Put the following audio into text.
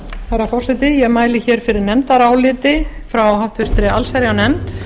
herra forseti ég mæli fyrir nefndaráliti frá háttvirta allsherjarnefnd